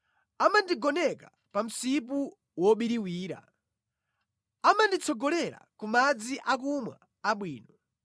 Amandigoneka pa msipu wobiriwira, amanditsogolera ku madzi akumwa abwino,